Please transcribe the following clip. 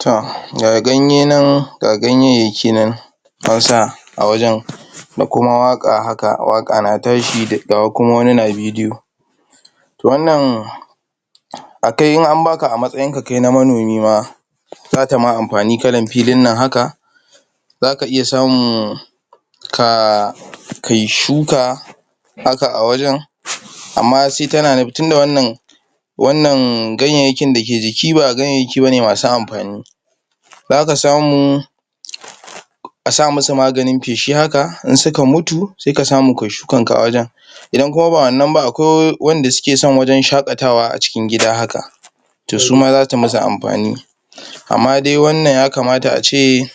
To,? ga ganyayyaki nan an sa a wajan, da kuma waƙa haka, waƙa na tashi? ga kuma wani na bidiyo. To, wannan a kai in an baka a matsayin ka kai na manomi ma, zata ma amfani kalan filin nan haka, zaka iya samu um? kai shuka, haka a wajen. Amma? tunda wannan? ganyayyakin da ke jiki ba ganyayyaki bane masu amfani, zaka samu a sa musu maganin feshi haka, in suka mutu sai ka samu kai shukan ka a wajen. Idan kuma ba wannan ba, akwai wanda suke son wajen shaƙatawa a cikin gida haka, to su ma zata musu amfani. Amma dai wannan ya kamata a ce,